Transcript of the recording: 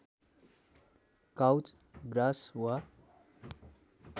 couch grass वा